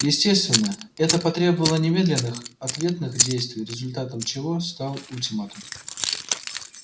естественно это потребовало немедленных ответных действий результатом чего стал ультиматум